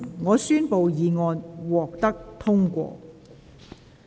我宣布議案獲得通過。